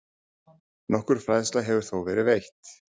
Nokkur fræðsla hefur þó verið veitt.